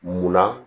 Munna